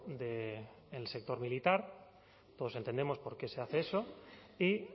del sector militar todos entendemos por qué se hace eso y